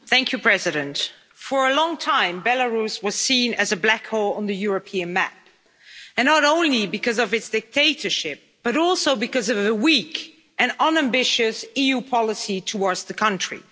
Mr President, for a long time, Belarus was seen as a black hole on the European map, not only because of its dictatorship but also because of the weak and unambitious EU policy towards that country.